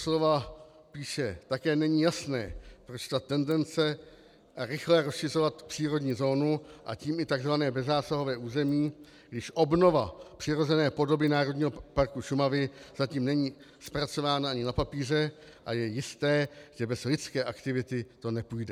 Doslova píše: Také není jasné, proč ta tendence rychle rozšiřovat přírodní zónu, a tím i tzv. bezzásahové území, když obnova přirozené podoby Národního parku Šumavy zatím není zpracována ani na papíře, a je jisté, že bez lidské aktivity to nepůjde.